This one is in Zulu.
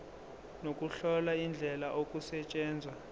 nokuhlola indlela okusetshenzwa